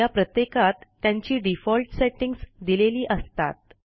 या प्रत्येकात त्यांची डिफॉल्ट सेटिंग्ज दिलेली असतात